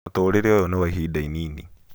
mũtũũrire ũyũ nĩ wa ihinda inini